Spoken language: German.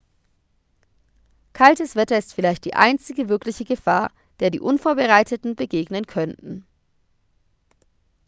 kaltes wetter ist vielleicht die einzige wirkliche gefahr der die unvorbereiteten begegnen könnten